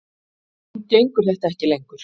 Nú gengur þetta ekki lengur